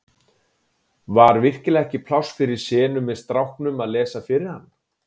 Var virkilega ekki pláss fyrir senu með stráknum að lesa fyrir hann?